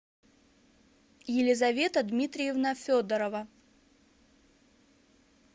елизавета дмитриевна федорова